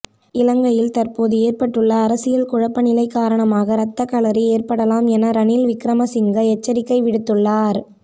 இலங்கையில் தற்போது ஏற்பட்டுள்ள அரசியல் குழப்பநிலை காரணமாக இரத்தக்களறியேற்படலாம் என ரணில் விக்கிரமசிங்க எச்சரிக்கை விடுத்துள்ளார்